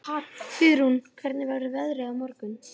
Friðrún, hvernig verður veðrið á morgun?